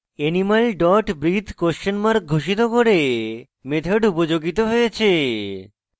animal dot breathe questionmark ঘোষিত করে method উপযোগিত হয়েছে